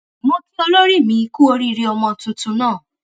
mo kí olórí mi kú oríire ọmọ tuntun náà